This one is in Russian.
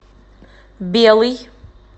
белый